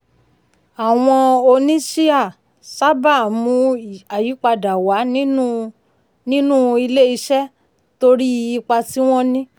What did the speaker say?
àwọn oníṣíà sábà ń mú ayípadà wá nínú nínú um ilé-iṣẹ́ um torí ipa tí wọ́n ní.